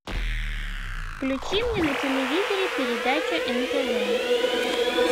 включи мне на телевизоре передачу нтв